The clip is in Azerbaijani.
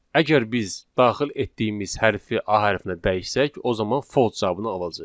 Əgər biz daxil etdiyimiz hərfi A hərfinə dəyişsək, o zaman false cavabını alacağıq.